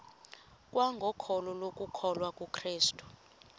kwangokholo lokukholwa kukrestu